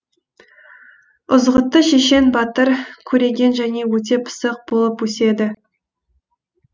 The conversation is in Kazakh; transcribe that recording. ізғұтты шешен батыр көреген және өте пысық болып өседі